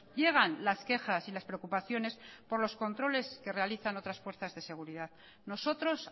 llegan las quejas y las preocupaciones por los controles que realizan otras fuerzas de seguridad nosotros